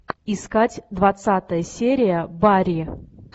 искать двадцатая серия барри